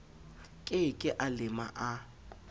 ke ke a lema a